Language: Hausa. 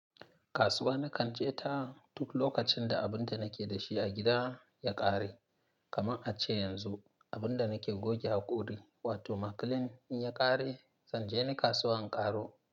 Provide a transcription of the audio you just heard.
Kasuwa na kan tseta duk lokacin da abin da nake da shi a gida ya ƙare. Kaman a ce yanzu abin da nake goge haƙori wato maklin in ya ƙare, zanje ni kasuwa in ƙaro.